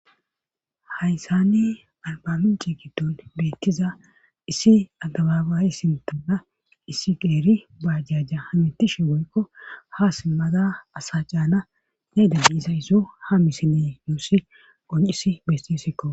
hayssani albamin ciikiton beettiza issi agababayi sintanna issi geeri baajaja hamitishe woykko ha simmada asa caana yayda biisa issu ha misine nuusi qoncis bestisikko